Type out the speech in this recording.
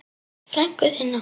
Frænku þína?